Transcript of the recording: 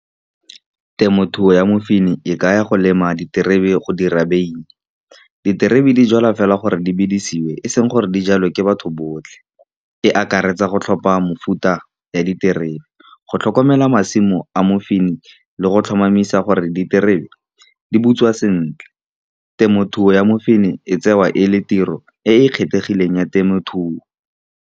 Temothuo ya mofeini e ka ya go lema diterebe go dira beine. Diterebe di jalwa fela gore di bidisiwe, e seng gore dijalwe ke batho botlhe. E akaretsa go tlhopha mefuta ya diterebe, go tlhokomela masimo a mofeini, le go tlhomamisa gore diterebe di butswa sentle. Temothuo ya mofeini e tsewa e le tiro e e kgethegileng ya temothuo.